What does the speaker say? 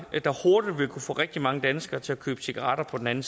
der hurtigt vil kunne få rigtig mange danskere til at købe cigaretter på den anden